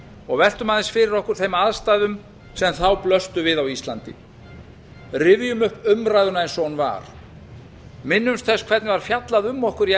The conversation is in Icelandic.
og veltum aðeins fyrir okkur þeim aðstæðum sem þá blöstu við á íslandi rifjum upp umræðuna eins og hún var minnumst þess hvernig var fjallað um okkur í